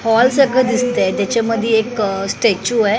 Hall सारखं दिसतंय त्याच्यामध्ये एक स्टॅच्यु आहे.